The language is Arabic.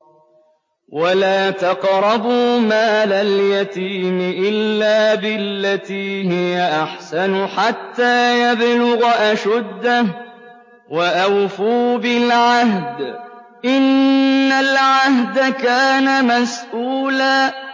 وَلَا تَقْرَبُوا مَالَ الْيَتِيمِ إِلَّا بِالَّتِي هِيَ أَحْسَنُ حَتَّىٰ يَبْلُغَ أَشُدَّهُ ۚ وَأَوْفُوا بِالْعَهْدِ ۖ إِنَّ الْعَهْدَ كَانَ مَسْئُولًا